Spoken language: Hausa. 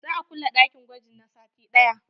Za a kulle ɗakin gwaji na sati ɗaya.